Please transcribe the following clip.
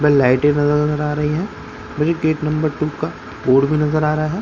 व लाइटें न नजर आ रही है वही गेट नंबर टू का कोड भी नजर आ रहा है।